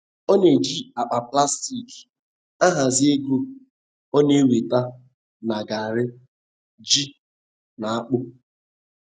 Ọ na-eji akpa plastik ahazi ego ọ na enweta na garri, ji, na akpụ.